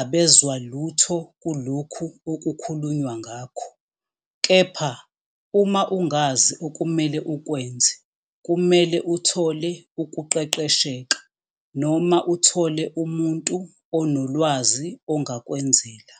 abezwa lutho kulokhu okukhulunywa ngakho. Kepha uma ungazi okumele ukwenze kumele uthole ukuqeqesheka, noma uthole umuntu onolwazi ongakwenzela.